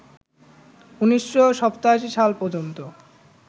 ১৯৮৭ সাল পর্যন্ত